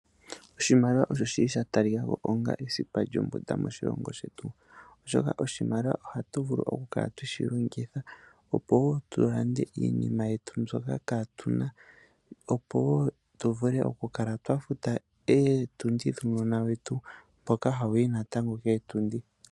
Oshimaliwa osho shili shatalikako onga esipa lyothingo moshilongo shetuoshoka oshimaliwa ohatu vulu okukala tweshi longitha opo woo tulande iinima yetu mbyoka kaatuna opo woo tuvule ywafuta ootundi dhuunona wetu mboka hawu yi natango koontundi.